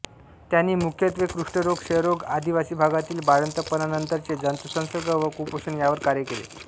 त्यांनी मुख्यत्वे कुष्ठरोग क्षयरोग आदिवासी भागातील बाळंतपणानंतरचे जंतुसंसर्ग व कुपोषण यावर कार्य केले